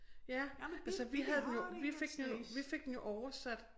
Ja altså vi havde den jo vi fik den jo vi fik den jo oversat